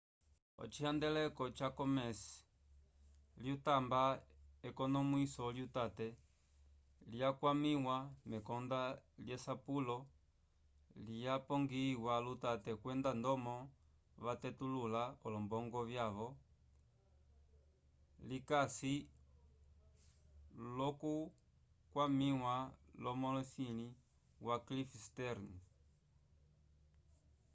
ocihandeleko ca komes's lyatamba ekonomwiso lyutate lyakwamiwa mekonda lyesapulo lyapongiyiwa lutate kwenda ndomo vatetulula olombongo vyaco likasi l'okukwamiwa lumolisi wa cliff stearns